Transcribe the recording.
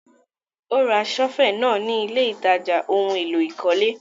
Ó ra sọ́fẹ̀ náà ni ilé ìtajà ohun-èlò ìkọ́lé.